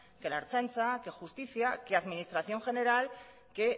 que la ertzaintza que justicia que administración general que